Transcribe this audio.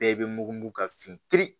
Bɛɛ bɛ mugu mugu ka fin kiri